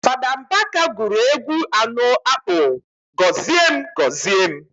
Fada Mbaka guru egwu ano akpo "Gozie Gozie m"